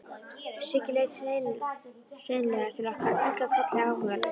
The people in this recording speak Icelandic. Siggi leit seinlega til okkar og kinkaði kolli áhugalaust.